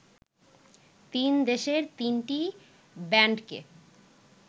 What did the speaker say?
তিন দেশের তিনটি ব্যান্ডকে